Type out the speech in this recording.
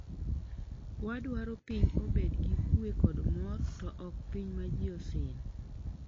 Wadwaro piny obed gi kue kod mor to ok piny ma ji osin